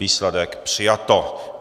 Výsledek: přijato.